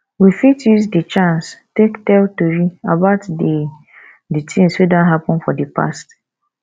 we fit use di chance take tell tori about di di things wey don happen for di past